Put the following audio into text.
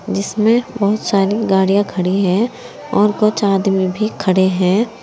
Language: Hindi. जिसमें बहुत सारी गाड़ियां खड़ी है और कुछ आदमी भी खड़े है।